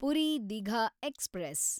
Puri Digha express